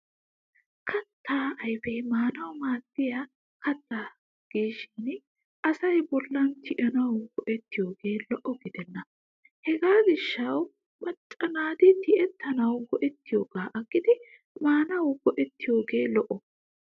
Kattaa ayfee maanawu maaddiya katta gishin asay bolla tiyettanawu go'ettiyoogee lo'o gidenna. Hegaa gishshawu macca naati tiyettanawu go'ettiyoogaa aggidi maanawu go'ettiyoogee lo'o.